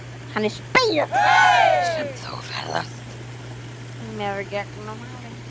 Hann er spegill sem þú ferðast með gegnum árin.